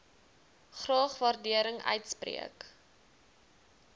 graag waardering uitspreek